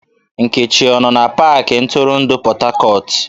Nkechi ọ no na pakị ntụrụndụ Port Harcourt?